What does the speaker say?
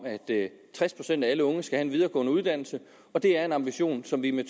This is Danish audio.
at tres procent af alle unge skal have en videregående uddannelse og det er en ambition som vi med